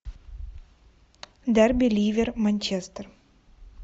дерби ливер манчестер